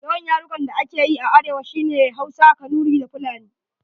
Yawan yarukan da ake yi a arewa shi ne Hausa, Kanuri da Fulani.